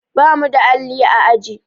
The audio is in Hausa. Ba mu da alli a aji.